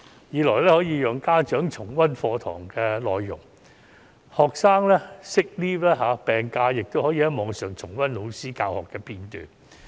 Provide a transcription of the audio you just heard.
此外，亦可以讓家長重溫課堂內容，即使學生請了病假亦可以從網上重溫老師的教學片段。